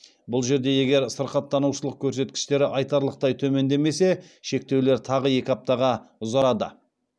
бұл жерде егер сырқаттанушылық көрсеткіштері айтарлықтай төмендемесе шектеулер тағы екі аптаға ұзарады